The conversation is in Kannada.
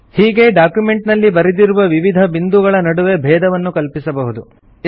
ಹೀಗೆ ಡಾಕ್ಯುಮೆಂಟ್ ನಲ್ಲಿ ಬರೆದಿರುವ ವಿವಿಧ ಬಿಂದುಗಳ ನಡುವೆ ಭೇದವನ್ನು ಕಲ್ಪಿಸಬಹುದು